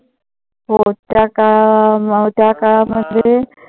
हो त्या काळा त्या काळामध्ये